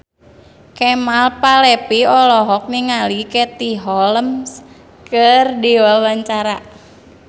Kemal Palevi olohok ningali Katie Holmes keur diwawancara